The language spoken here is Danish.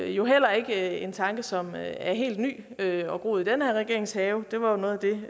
jo heller ikke en tanke som er helt ny eller har groet i den her regerings have det var noget af det